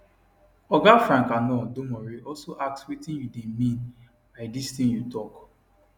oga frank annor domoreh also ask wetin you dey mean by dis tin you tok